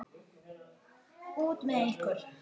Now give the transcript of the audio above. Út með ykkur!